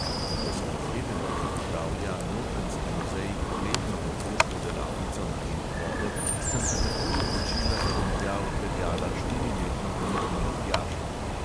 Ko sem izvedela, da pripravlja notranjski muzej poletno otroško delavnico na temo vode, sem se takoj odločila, da bom tja odpeljala štiriletno vnukinjo tjašo.